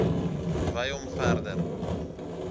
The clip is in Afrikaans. wy hom verder